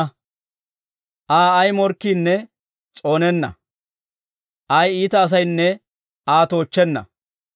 Aa ay morkkiinne s'oonenna; ay iita asaynne Aa toochchenna.